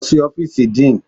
Lọ sí ọ́fíìsì Dean!